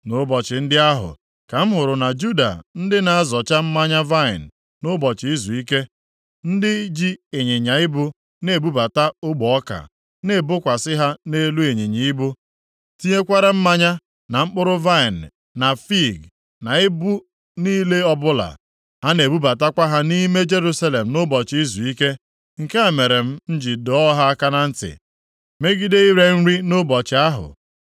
Nʼụbọchị ndị ahụ, ka m hụrụ na Juda ndị na-azọcha mmanya vaịnị nʼụbọchị izuike, ndị ji ịnyịnya ibu na-ebubata ogbe ọka, na-ebokwasị ha nʼelu ịnyịnya ibu, tinyekwara mmanya, na mkpụrụ vaịnị na fiig, na ibu niile ọbụla. Ha na-ebubatakwa ha nʼime Jerusalem nʼụbọchị izuike. Nke a mere m ji dọọ ha aka na ntị megide ire nri nʼụbọchị ahụ.